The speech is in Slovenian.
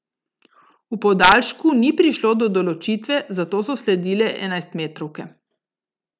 V podaljšku ni prišlo do določitve, zato so sledile enajstmetrovke.